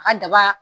A ka daba